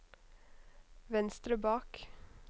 venstre bak